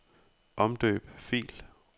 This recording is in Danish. Omdøb fil.